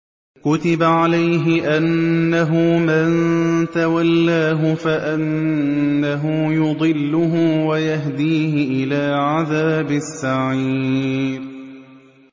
كُتِبَ عَلَيْهِ أَنَّهُ مَن تَوَلَّاهُ فَأَنَّهُ يُضِلُّهُ وَيَهْدِيهِ إِلَىٰ عَذَابِ السَّعِيرِ